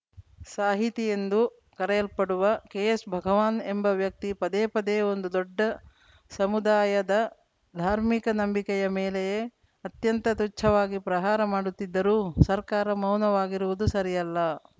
ಸಾಹಿತಿಯೆಂದು ಕರೆಯಲ್ಪಡುವ ಕೆಎಸ್‌ಭಗವಾನ್‌ ಎಂಬ ವ್ಯಕ್ತಿ ಪದೇಪದೇ ಒಂದು ದೊಡ್ಡ ಸಮುದಾಯದ ಧಾರ್ಮಿಕ ನಂಬಿಕೆಯ ಮೇಲೆಯೇ ಅತ್ಯಂತ ತುಚ್ಛವಾಗಿ ಪ್ರಹಾರ ಮಾಡುತ್ತಿದ್ದರೂ ಸರ್ಕಾರ ಮೌನವಾಗಿರುವುದು ಸರಿಯಲ್ಲ